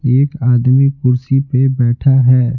एक आदमी कुर्सी पे बैठा है।